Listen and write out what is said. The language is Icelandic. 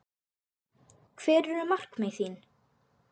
Hver eru markmið þín?